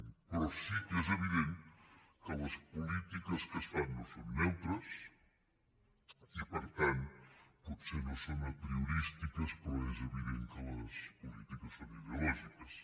però sí que és evident que les polítiques que es fan no són neutres i per tant potser no són apriorístiques però és evident que les polítiques són ideològiques